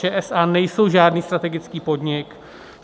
ČSA nejsou žádný strategický podnik.